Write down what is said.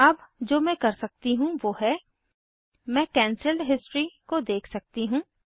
अब जो मैं कर सकती हूँ वो है मैं कैंसल्ड हिस्ट्री को देख सकती हूँ